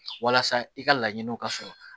Walasa i ka laɲiniw ka sɔrɔ